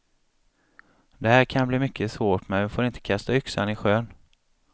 Det här kan bli mycket svårt men vi får inte kasta yxan i sjön.